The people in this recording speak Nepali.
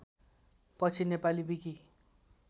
पछि नेपाली विकि